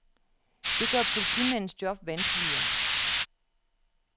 Det gør politimandens job vanskeligere.